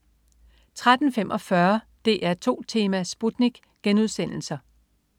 13.45 DR2 Tema: Sputnik*